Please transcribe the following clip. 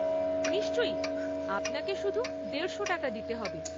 নিশ্চয়ই, আপনাকে শুধু দেড়শো টাকা দিতে হবে।